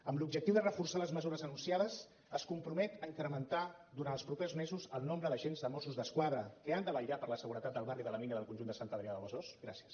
amb l’objectiu de reforçar les mesures anunciades es compromet a incrementar durant els propers mesos el nombre d’agents de mossos d’esquadra que han de vetllar per la seguretat del barri de la mina del conjunt de sant adrià de besòs gràcies